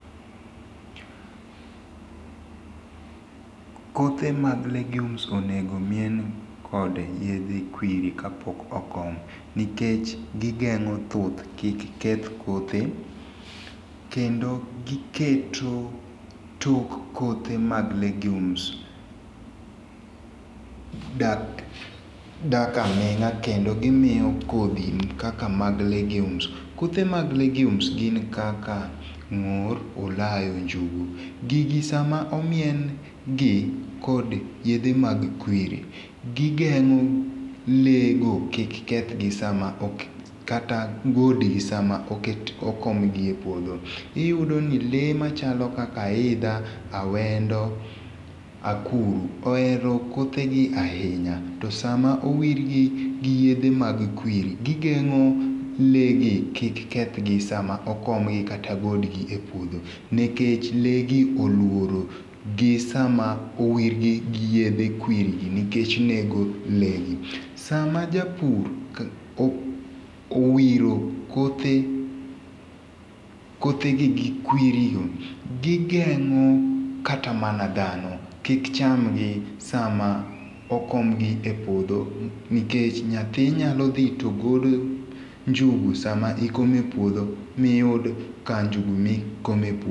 Kothe mag legumes onego omien kod yedhe kwiri kapok okom nikech gigeng'o thuth kik keth kothe kendo giketo tok kothe mag legumes dak aming'a kendo gimiyo kodhi kaka mag legumes kothe mag legumes gin kaka ng'or, olayo, njugu. Gigi sama omien gi kod yedhe mag kwiri gigeng'o le go kik keth gi sa ma ok kata ngode sama oke okom gi e puodho. Iyudo ni le machalo kaka aidha, awendo, akuru oero kothe gi ahinya. To sama owir gi gi yedhe mag kwiri gigeng'o le gi kik keth gi sa ma okom gi kata golgi e puodho nikech le gi oluori gi sa ma owirgi gi yedhe kwiri gi nikech nego le gi. Sama japur owiro kothe kothe gi gi kwiri go gigeng'o kata mana dhano kik chamgi sa ma okom gi e puodho nikech nyathi nyalo dhi to golo njugo sa ma ikomo e puodho miyud ka njugu mikomo e puodho.